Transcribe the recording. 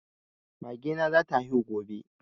Mage na za ta haihu gobe